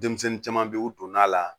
Denmisɛnnin caman bɛ u donn'a la